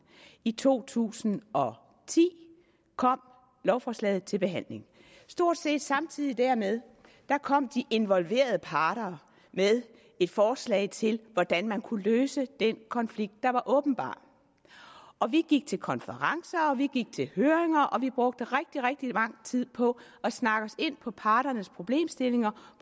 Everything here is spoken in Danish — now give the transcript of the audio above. i to tusind og ti kom lovforslaget til behandling stort set samtidig dermed kom de involverede parter med et forslag til hvordan man kunne løse den konflikt der var åbenbar og vi gik til konferencer og vi gik til høringer og vi brugte rigtig rigtig lang tid på at snakke os ind på parternes problemstillinger